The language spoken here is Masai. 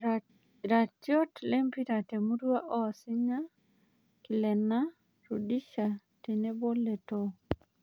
Iratiot lempira temurua osinya; Kilena, Rudisha tenebo Letoo